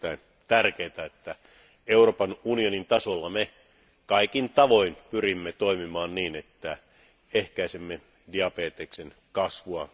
On erittäin tärkeää, että Euroopan unionin tasolla me kaikin tavoin pyrimme toimimaan niin, että ehkäisemme diabeteksen kasvua.